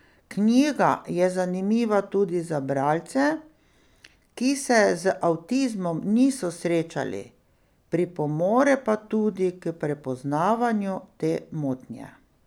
Knjiga je zanimiva tudi za bralce, ki se z avtizmom niso srečali, pripomore pa tudi k prepoznavanju te motnje.